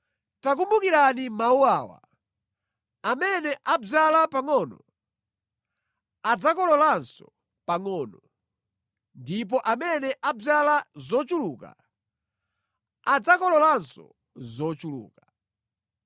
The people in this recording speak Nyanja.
Takumbukirani mawu awa: Amene adzala pangʼono, adzakololanso pangʼono, ndipo amene adzala zochuluka, adzakololanso zochuluka.